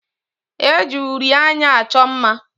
E ji uri anya achọ mma.